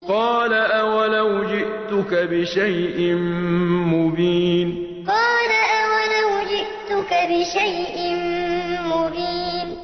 قَالَ أَوَلَوْ جِئْتُكَ بِشَيْءٍ مُّبِينٍ قَالَ أَوَلَوْ جِئْتُكَ بِشَيْءٍ مُّبِينٍ